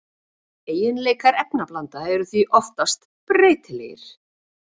Eiginleikar efnablanda eru því oftast breytilegir.